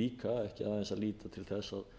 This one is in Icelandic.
líka ekki aðeins að líta til þess að